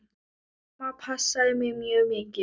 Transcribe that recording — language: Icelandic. Amma passaði mig mjög mikið.